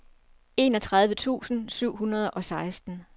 enogtredive tusind syv hundrede og seksten